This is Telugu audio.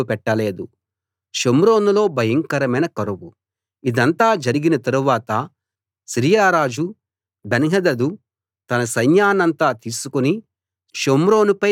ఇదంతా జరిగిన తరువాత సిరియా రాజు బెన్హదదు తన సైన్యాన్నంతా తీసుకుని షోమ్రోనుపై దాడికి వచ్చి పట్టణం చుట్టూ ముట్టడి వేశాడు